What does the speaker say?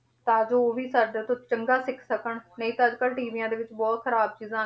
ਤਾਂ ਜੋ ਉਹ ਵੀ ਸਾਡੇ ਤੋਂ ਚੰਗਾ ਸਿੱਖ ਸਕਣ, ਨਹੀਂ ਤਾਂ ਅੱਜ ਕੱਲ੍ਹ ਟੀਵੀਆਂ ਦੇ ਵਿੱਚ ਬਹੁਤ ਖ਼ਰਾਬ ਚੀਜ਼ਾਂ,